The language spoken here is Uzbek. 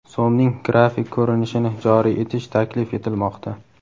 So‘mning grafik ko‘rinishini joriy etish taklif etilmoqda.